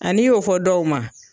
n'i y'o fɔ dɔw ma